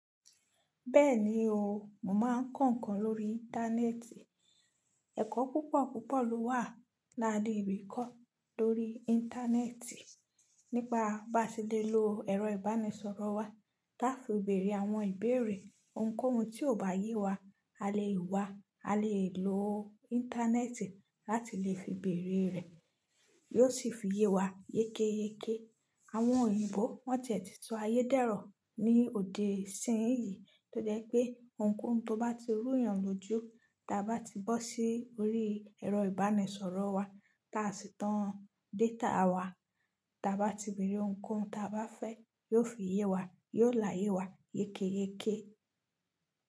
Bẹ́ẹ̀ni o, mò máa ń kọ̀ǹkan lórí Íńtánẹ́ẹ̀tì. Ẹ̀kọ́ púpọ̀ púpọ̀ ló wà láde rí kọ́ lórí Íńtánẹ́ẹ̀tì. Nípa bá se lè lo ẹ̀rọ ìbánisọ̀rọ̀ wa, tá fi bèrè àwọn ìbéèrè, ohunkóhun tí ò bá yé wa, a lè wá, a lè lo Íńtánẹ́ẹ̀tì láti lè fi bèrè rẹ, yóò sì fi yé wa yékéyéké. Àwọn òyìnbó wọ́n tiẹ̀ ti sọ ayédẹ̀rọ ní òdì sẹ́yìn yìí, tó jẹ́ pé ohunkóhun tó bá ti rù yàn lójú, ti a bá ti bọ́ sí orí ẹ̀rọ ìbánisọ̀rọ̀ wa tá sì tán data wa, ti a bá ti bèrè ohunkóhun tí a bá fẹ́, yóò fi yé wa, yóò láyé wa yékéyéké.